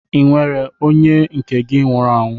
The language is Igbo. Ọ nwere onye nke gị nwụrụ anwụ?